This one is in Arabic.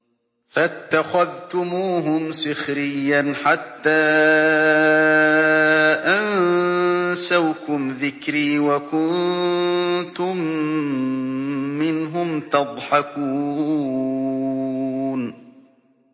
فَاتَّخَذْتُمُوهُمْ سِخْرِيًّا حَتَّىٰ أَنسَوْكُمْ ذِكْرِي وَكُنتُم مِّنْهُمْ تَضْحَكُونَ